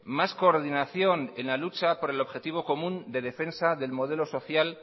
más coordinación en la lucha por el objetivo común de defensa del modelo social